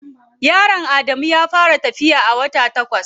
Yaron Adamu ya fara tafiya a wata takwas.